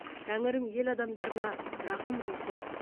тәңірім ел адамдарына рақым қылсын